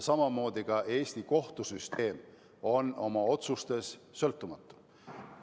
Samamoodi on ka Eesti kohtusüsteem oma otsustes sõltumatu.